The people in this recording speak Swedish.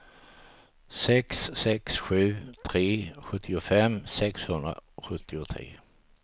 sex sex sju tre sjuttiofem sexhundrasjuttiotre